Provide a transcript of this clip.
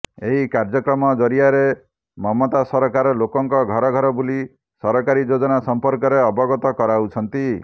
ଏହି କାର୍ଯ୍ୟକ୍ରମ ଜରିଆରେ ମମତା ସରକାର ଲୋକଙ୍କ ଘର ଘର ବୁଲି ସରକାରୀ ଯୋଜନା ସମ୍ପର୍କରେ ଅବଗତ କରାଉଛନ୍ତି